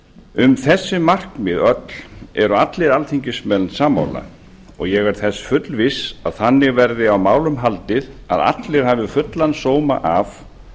um þessi markmið öll eru allir alþingismenn sammála og ég er þess fullviss að þannig verði á málum haldið að allir hafi fullan sóma af